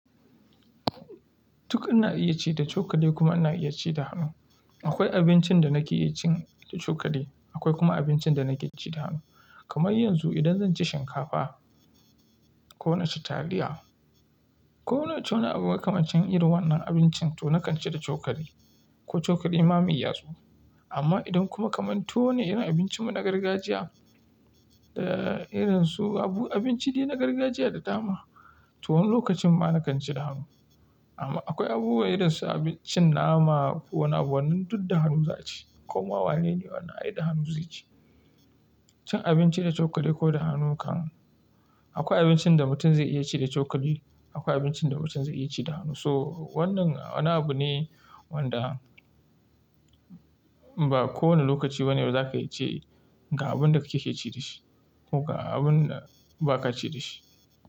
Duk ana iya ci da cokali kuma ana iya ci da hannu. Akwai abincin da na ke cin da cokali, akwai kuma abincin da nake ci da hannu. Kamar yanzu idan zan ci shinkafa, ko na ci taliya, ko na ci wani abu makamancin irin wannan abincin to na kan ci da cokali, ko cokali ma mai yatsu. Amma idan kuma kamar tuwo ne irin abincin mu na gargajiya, da irin su abu abinci dai na gargajiya da dama, to wani lokacin ma na kan ci da hannu. Amma akwai abubuwa irin su abincin nama, ko wani abu wannan duk da hannu za a ci, komawa ne ne wannan ai da hannu zai ci. Cin abinci da cokali ko da hannu kan, akwai abincin da mutum zai iya ci da cokali akwai abincin da mutum zai iya ci da hannu. So wannan wani abu ne wanda, ba kowane lokaci ba ne za ka iya ce ga abun da kake ci da shi, ko ga abun da ba ka ci da shi.